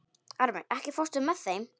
Ármey, ekki fórstu með þeim?